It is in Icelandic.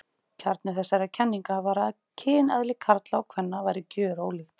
Kjarni þessara kenninga var að kyneðli karla og kvenna væri gjörólíkt.